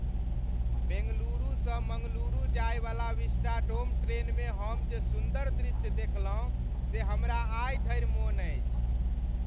बेंगलुरुसँ मंगलुरु जायवला विस्टाडोम ट्रेनमे हम जे सुन्दर दृश्य देखलहुँ से हमरा आइ धरि मोन अछि।